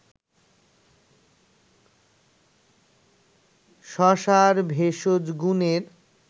শশার ভেষজ গুনের